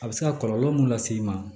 A bɛ se ka kɔlɔlɔ mun lase i ma